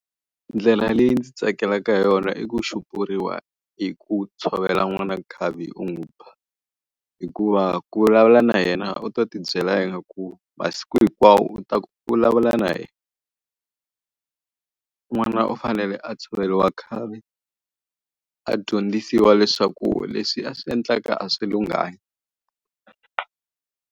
Ndlela leyi ndzi tsakelaka yona i ku xupuriwa hi ku tshovela n'wana nkhavi u n'wi ba. Hikuva ku vulavula na yena u ta ti byela ku masiku hinkwawo u ta vulavula na yena. N'wana u fanele a tshoveriwa nkhavi, a dyondzisiwa leswaku leswi a swi endlaka a swi lunghanga.